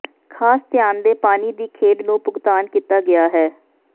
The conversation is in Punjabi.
ਖਾਸ ਧਿਆਨ ਦੇ ਪਾਣੀ ਦੀ ਖੇਡ ਨੂੰ ਭੁਗਤਾਨ ਕੀਤਾ ਗਿਆ ਹੈ